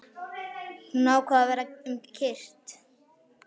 Hún ákvað að verða um kyrrt.